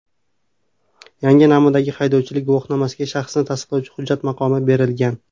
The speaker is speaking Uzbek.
Yangi namunadagi haydovchilik guvohnomasiga shaxsni tasdiqlovchi hujjat maqomi berilgan.